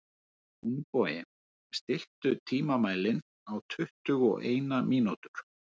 Húnbogi, stilltu tímamælinn á tuttugu og eina mínútur.